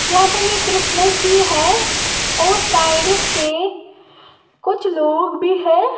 यहां पर ये क्रिसमस भी है और साइड से कुछ लोग भी है।